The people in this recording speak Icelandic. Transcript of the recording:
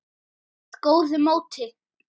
með góðu móti.